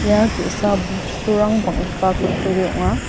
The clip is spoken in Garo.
ia ge·sa bosturang bang·gipa kutturi ong·a.